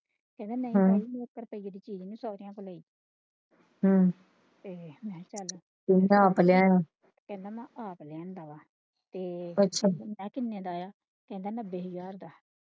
ਕਹਿੰਦਾ ਸੋਹਰਿਆਂ ਤੋਂ ਲਈ ਤੇ ਚਲ ਕਹਿੰਦਾ ਮੈਂ ਆਪ ਲਿਆਂਦਾ ਵਾ ਤੇ ਮੈਂ ਕਿੰਨੇ ਦਾ ਆਇਆ ਕਹਿੰਦਾ ਨੱਬੇ ਹਜ਼ਾਰ ਦਾ।